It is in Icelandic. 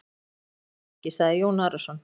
Ég fer með ofsa að fólki, sagði Jón Arason.